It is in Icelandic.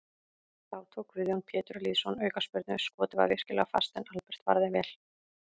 Þá tók Guðjón Pétur Lýðsson aukaspyrnu, skotið var virkilega fast en Albert varði vel.